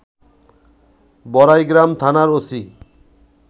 বড়াইগ্রাম থানার ওসি